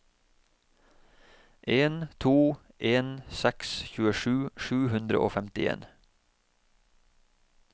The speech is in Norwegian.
en to en seks tjuesju sju hundre og femtien